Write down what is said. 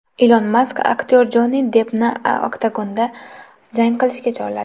Ilon Mask aktyor Jonni Deppni oktagonda jang qilishga chorladi.